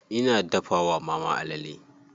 Ina dafa wa mama alale.